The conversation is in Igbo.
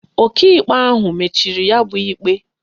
Ọkaikpe ahụ mechiri ya bụ ikpe